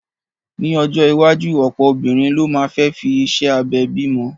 Ní ọjọ́ iwájú, ọ̀pọ̀ obìnrin ló máa fẹ́ fi iṣẹ́ abẹ bimo